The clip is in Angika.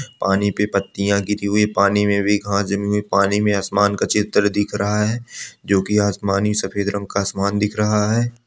पानी पे पत्तियाँ गिरी हुई हैं पानी में भी घास जमी हुई हैं पानी में आसमान का चित्र दिख रहा है जो की आसमानी सफेद रंग का आसमान दिख रहा है।